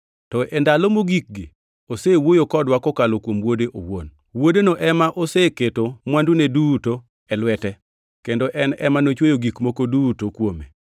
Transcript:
to e ndalo mogikgi osewuoyo kodwa kokalo kuom Wuode owuon. Wuodeno ema oseketo mwandune duto e lwete, kendo en ema nochweyo gik moko duto kuome.